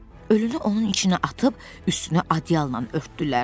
Ölünü onun içinə atıb üstünü adyalla örtdülər.